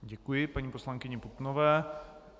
Děkuji paní poslankyni Putnové.